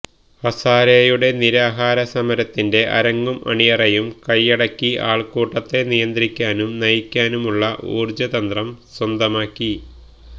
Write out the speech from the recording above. ഹസാരെയുടെ നിരാഹാര സമരത്തിന്റെ അരങ്ങും അണിയറയും കയ്യടക്കി ആൾക്കൂട്ടത്തെ നിയന്ത്രിക്കാനും നയിക്കാനുമുള്ള ഊർജതന്ത്രം സ്വന്തമാക്കി